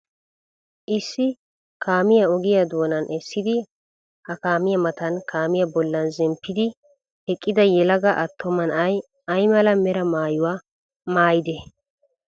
Issi kaamiya ogiya doonan essidi ha kaamiya matan kaamiya bollan zemppidi eqqida yelaga attuma na'ay ay mala mera maayuwa maayidee?